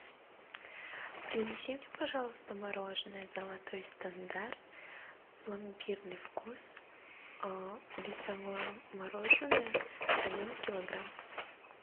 принеси мне пожалуйста мороженое золотой стандарт пломбирный вкус весовое мороженое один килограмм